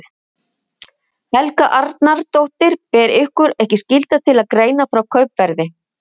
Helga Arnardóttir: Ber ykkur ekki skylda til að greina frá kaupverði?